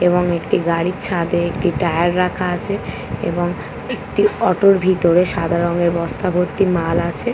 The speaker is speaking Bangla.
এবং একটি গাড়ির ছাদে একটি টায়ার রাখা আছে এবং একটি অটোর ভিতরে সাদা রঙের বস্তা ভর্তি মাল আছে ।